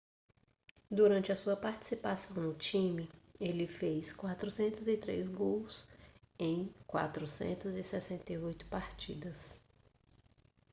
durante a sua participação no time ele fez 403 gols em 468 partidas